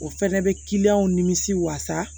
O fɛnɛ bɛ kiliyanw nimisi wasa